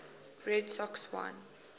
red sox won